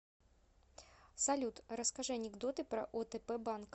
салют расскажи анекдоты про отп банк